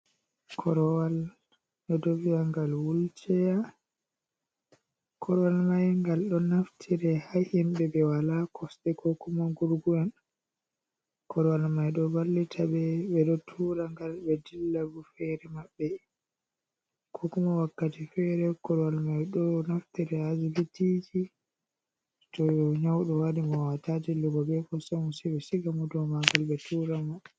Korwal nodoviyangal wulceya korwal mai ngal do naftira ha himbe be wala kosde ko kuma gurgu’en korwal mai do ballita be do tura ngal be dillabu fere mabbe ko kuma wakkati fere korwal mai do naftira hajilitiji too nyaudo wadi mowatajillugo be fosamu sibe shiga mo do magal be tura mo.